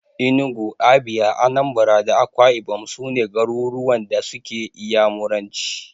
Enugu, Abia, Anambra da Akwai ibom su ne garuruwan da suke Inyamuranci.